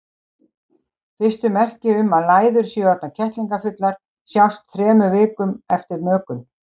Fyrstu merki um að læður séu orðnar kettlingafullar sjást þremur vikum eftir mökun.